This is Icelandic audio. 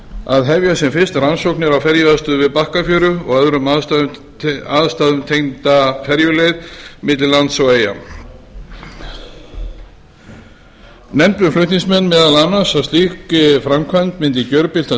að hefja sem fyrst rannsóknir á ferjuaðstöðu við bakkafjöru og öðrum aðstæðum tengda ferjuleið milli lands og eyja nefndu flutningsmenn meðal annars að slík framkvæmd myndi gjörbylta